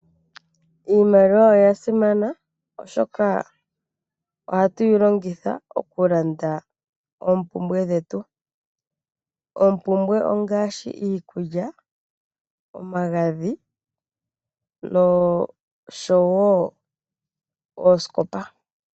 Iimaliwa oyasimana oshoka ohatuyi longitha okulanda oompumbwe dhetu, oompumbwe ongaashi, iikulya, omagadhi, nosho wo oosikopa.